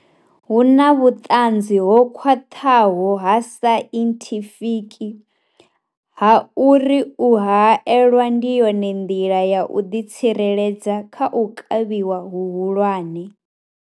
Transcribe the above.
Hu na vhuṱanzi ho khwaṱhaho ha sainthifiki ha uri u haelwa ndi yone nḓila ya u ḓitsireledza kha u kavhiwa hu hulwane.